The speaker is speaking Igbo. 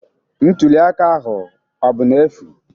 Ntuli aka ahụ ọ bụ n'efu?